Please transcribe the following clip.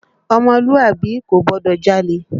Ọmọlúàbí kò gbọ́dọ̀ jalè